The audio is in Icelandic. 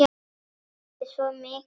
Mér líður svo mikið betur.